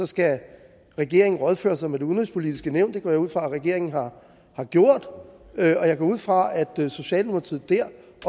skal regeringen rådføre sig med det udenrigspolitiske nævn det går jeg ud fra at regeringen har gjort og jeg går ud fra at socialdemokratiet der